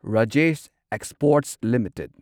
Rajesh exports limited